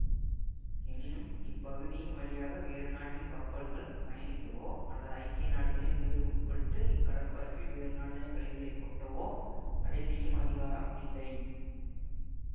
எனினும் இப்பகுதியின் வழியாக வேறு நாட்டின் கப்பல்கள் பயணிக்கவோ அல்லது ஐக்கிய நாடுகளின் விதிகளுக்குட்பட்டு இக்கடற்பரப்பில் வேறு நாடுகள் கழிவுகளை கொட்டாவோ தடை செய்யும் அதிகாரம் இல்லை